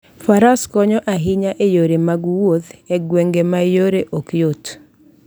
Faras konyo ahinya e yore mag wuoth e gwenge ma yore ok yot.